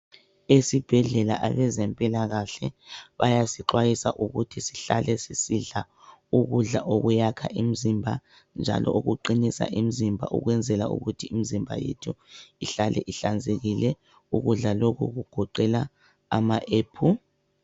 Esibhedlela abezempilakahle bayasixwayisa ukuthi sihlale sisidla ukudla okuyakha imzimba njalo okuqinisa imzimba ukwenzela ukuthi imzimba yethu ihlale ihlanzekile. Ukudla lokhu kugoqela ama ephu ...